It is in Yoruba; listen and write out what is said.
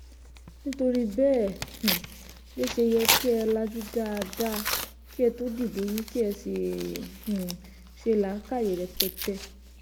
nítorí bẹ́ẹ̀ um ló ṣe yẹ kí ẹ lajú dáadáa kí ẹ tóó dìbò yín kí ẹ sì um ṣe làákàyè rẹpẹtẹ